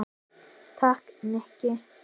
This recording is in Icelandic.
Takk, Nikki